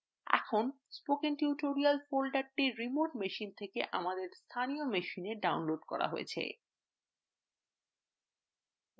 এখন spoken tutorial folder remote machine থেকে আমাদের স্থানীয় machineএ থেকে ডাউনলোড করা হয়েছে